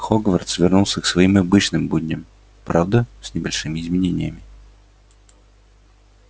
хогвартс вернулся к своим обычным будням правда с небольшими изменениями